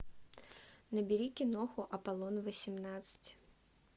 набери киноху аполлон восемнадцать